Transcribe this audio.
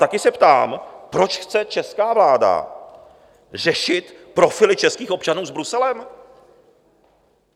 Také se ptám, proč chce česká vláda řešit profily českých občanů s Bruselem.